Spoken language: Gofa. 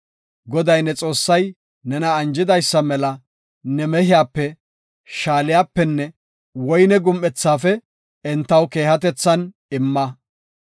Goday ne Xoossay nena anjidaysa mela ne mehiyape, shaaliyapenne woyne gum7ethaafe entaw keehatethan imma.